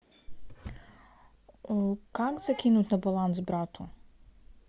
как закинуть на баланс брату